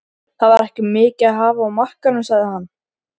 Það var ekki mikið að hafa á markaðnum sagði hann.